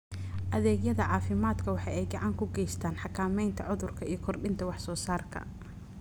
Adeegyada caafimaadku waxa ay gacan ka geystaan ??xakamaynta cudurka iyo kordhinta wax soo saarka.